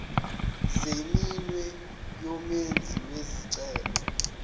zeminwe yomenzi wesicelo